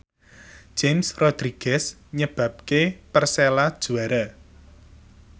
James Rodriguez nyebabke Persela juara